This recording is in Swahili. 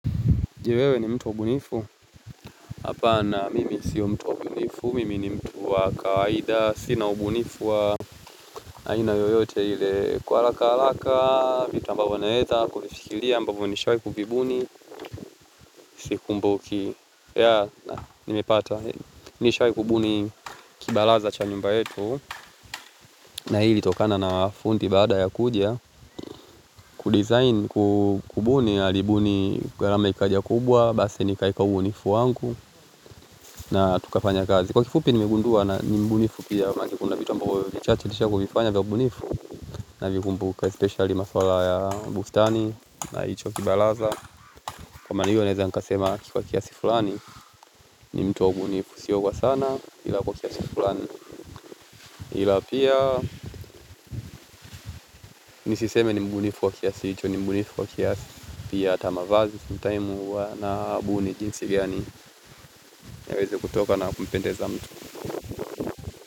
Mtu wa ubunifu, hapana mimi sio mtu wa ubunifu, mimi ni mtu wa kawaida, sina ubunifu wa aina yoyote ile. Kwa haraka haraka, vitu ambavyo naweza, kuvifikiria ambavyo nishawahi kuvibubuni, sikumbuki. Yaaa! Nimepata, nishawahi kububuni kibaraza cha nyumba yetu, na hii ilitokana na fundi baada ya kuja, kudizain kububuni, alibuni, ghalama ikaja kubwa, basi nikaweka ubunifu wangu, na tukafanya kazi. Kwa kifupi nimekundua na ni mbunifu pia. Make kuna vitu ambavyo ni vichache nilishawahi kuvifanya vya ubunifu. Navikumbuka especiali maswala ya bustani na hicho kibaraza. Kwamaana hiyo neweza nikasema kwa kiasi fulani, ni mtu wa ubunifu. Sio kwa sana ila kwa kiasi fulani. Ila pia nisiseme ni mbunifu wa kiasi. Hicho ni mbunifu wa kiasi pia hata mavazi. Sometime huwa nabuni jinsi gani yaweze kutoka na kumpendeza mtu.